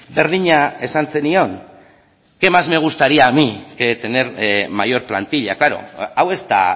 berdina esan zenion qué más me gustaría a mí que tener mayor plantilla klaro hau ez da